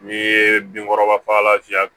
N'i ye bin kɔrɔba fagalan fiyɛ